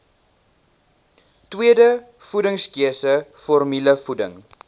tweede voedingskeuse formulevoeding